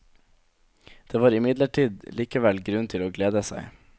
Det var imidlertid likevel grunn til å glede seg.